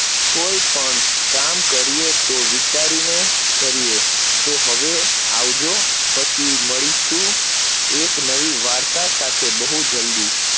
કોઈ પણ કાકમ કરીયે તો વિચારી ને કરીયે તો હવે આવજો પછી મળીશુ એક નવી વાર્તા સાથે બહુ જલ્દી